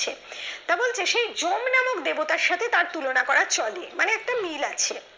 তবে ওই সে জম নামক দেবতার সাথে তার তুলনা করা চলে মানে একটা মিল আছে